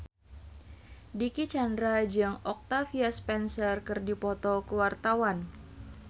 Dicky Chandra jeung Octavia Spencer keur dipoto ku wartawan